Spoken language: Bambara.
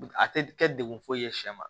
A tɛ kɛ degun foyi ye sɛ ma